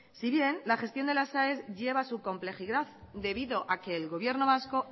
si bien la gestión de las aes lleva su complejidad debido a que el gobierno vasco